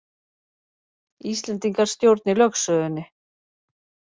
Íslendingar stjórni lögsögunni